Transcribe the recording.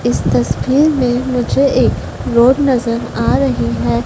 इस तस्वीर में मुझे एक रोड नजर आ रही है।